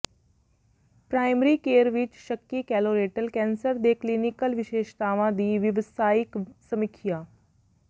primary care ਵਿਚ ਸ਼ੱਕੀ colorectal cancer ਦੇ ਕਲੀਨਿਕਲ ਵਿਸ਼ੇਸ਼ਤਾਵਾਂ ਦੀ ਵਿਵਸਾਇਕ ਸਮੀਖਿਆ